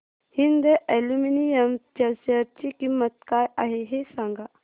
Hind aluminium च्या share ची किंमत काय आहे हे सांगा